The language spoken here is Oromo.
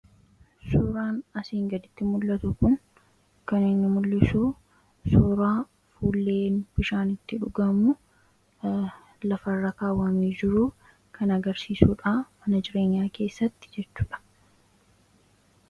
Suuraan asiin gaditti mul'atu kun kan inni mul'isu suuraa hulleen bishaan itti dhugamu lafarra kaawwamee jiru kan agarsiisuu dhaa mana jireenyaa keessatti jechuu dha.